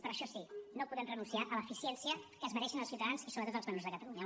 però això sí no podem renunciar a l’eficiència que es mereixen els ciutadans i sobretot els menors de catalunya